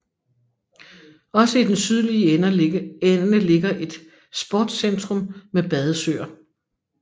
Også i den sydlige ende ligger et Sportcentrum med badesøer